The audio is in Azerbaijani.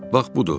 Bax budur.